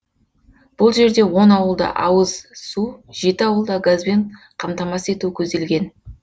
бұл жерде он ауылда ауыз су жеті ауылда газбен қамтамасыз ету көзделген